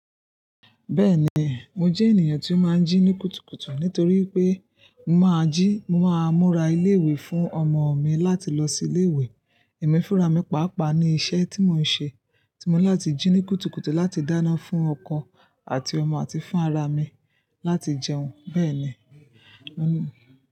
Bẹ́ẹ̀ni, mo jẹ ènìyàn ti o máa n ji kùtùkùtù nítorí pe mo máa ji, mo máa múra ile iwe fún ọmọ mi láti lọ si ilé iwe. Emi fúnra mi pàápàá ni iṣẹ́ tí mo ń ṣe, tí mo ní láti jí ní kùtùkùtù láti dáná fún ọkọ àti ọmọ àti fún ara mi láti jẹun. Bẹ́ẹ̀ ni, mo.